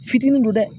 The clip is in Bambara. Fitini don dɛ